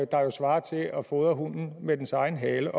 der jo svarer til at fodre hunden med dens egen hale